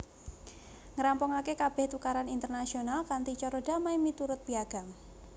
Ngrampungaké kabèh tukaran internasional kanthi cara damai miturut Piagam